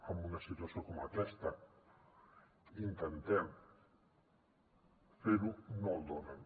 amb una situació com aquesta intentem fer ho no el donen